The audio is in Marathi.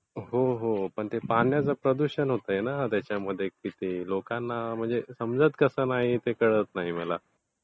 हो, हो पण पाण्याचं प्रदूषण होतंय ना त्याच्यामध्ये. लोकांना समजत कसं नाही ते कळत नाही मला.